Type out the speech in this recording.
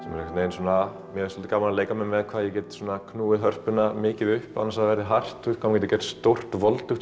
mér finnst gaman að leika mér með hvað ég get knúið hörpuna mikið upp án þess að það verði hart maður getur gert stórt voldugt